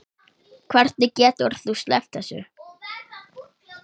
Hvernig getur þú sleppt þessu?